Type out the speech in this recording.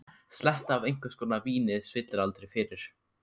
Sletta af einhvers konar víni spillir aldrei fyrir.